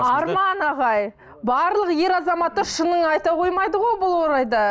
арман ағай барлық ер азаматтар шынын айта қоймайды ғой бұл орайда